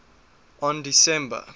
on december